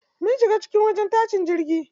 Mun shiga cikin wajen tashin jirgi.